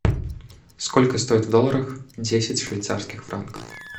сколько стоит в долларах десять швейцарских франков